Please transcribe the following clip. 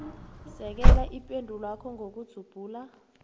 sekela ipendulwakho ngokudzubhula